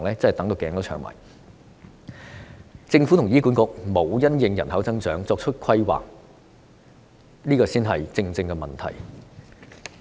政府和醫院管理局沒有因應人口增長作出規劃，這才是問題所在。